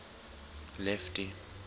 lefty